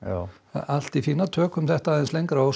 allt í fína tökum þetta aðeins lengra og